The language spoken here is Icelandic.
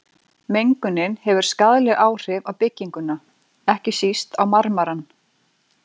Mengunin hefur skaðleg áhrif á bygginguna, ekki síst á marmarann.